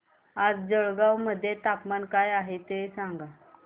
आज जळगाव मध्ये तापमान काय आहे सांगा